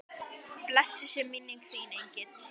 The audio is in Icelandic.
Blessuð sé minning þín engill.